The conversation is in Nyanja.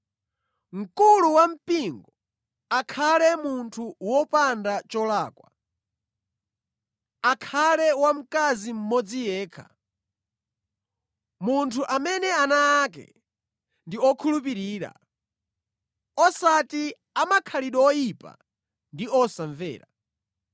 Mkulu wampingo akhale munthu wopanda cholakwa, akhale wa mkazi mmodzi yekha, munthu amene ana ake ndi okhulupirira, osati amakhalidwe oyipa ndi osamvera.